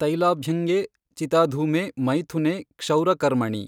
ತೈಲಾಭ್ಯಙ್ಗೇ ಚಿತಾಧೂಮೇ ಮೈಥುನೇ ಕ್ಷೌರಕರ್ಮಣಿ।